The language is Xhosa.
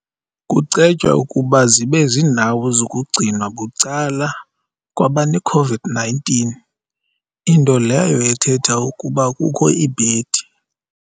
cetywa ukuba zibe zindawo zokugcinwa bucala kwa-baneCOVID-19, into leyo ethetha ukuba kukho iibhe